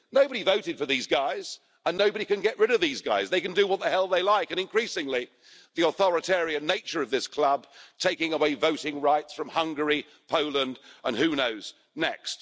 Nobody voted for these guys, and nobody can get rid of these guys, they can do what the hell they like, and increasingly the nature of this club is authoritarian, taking away voting rights from Hungary, Poland and who knows next.